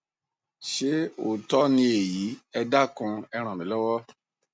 ṣé òótọ ni èyí ẹ dákun e ràn mí lọwọ